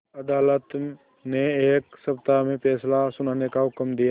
अदालत ने एक सप्ताह में फैसला सुनाने का हुक्म दिया